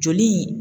Joli